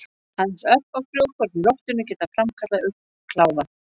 Aðeins örfá frjókorn í loftinu geta framkallað augnkláða.